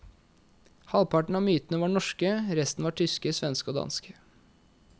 Halvparten av myntene var norske, resten var tyske, svenske og danske.